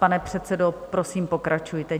Pane předsedo, prosím, pokračujte.